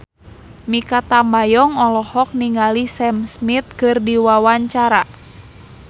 Mikha Tambayong olohok ningali Sam Smith keur diwawancara